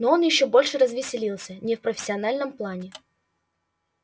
но он ещё больше развеселился не в профессиональном плане